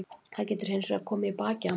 Það getur hinsvegar komið í bakið á manni.